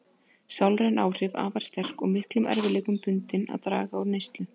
Sálræn áhrif afar sterk og miklum erfiðleikum bundið að draga úr neyslu.